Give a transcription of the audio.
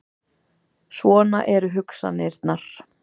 Svona eru hugsanirnar.